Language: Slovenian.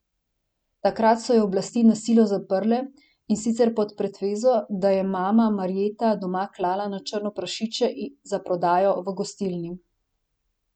Takrat so jo oblasti na silo zaprle, in sicer pod pretvezo, da je mama Marjeta doma klala na črno prašiče za prodajo v gostilni.